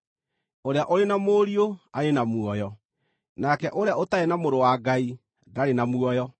Ũrĩa ũrĩ na Mũriũ arĩ na muoyo; nake ũrĩa ũtarĩ na Mũrũ wa Ngai ndarĩ na muoyo.